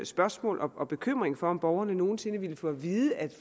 spørgsmål og bekymring for om borgerne nogen sinde ville få at vide at det